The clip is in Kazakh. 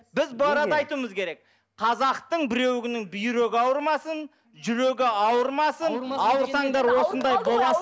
біз бұл арада айтуымыз керек қазақтың біреуінің бүйрегі ауырмасын жүрегі ауырмасын ауырсаңдар осындай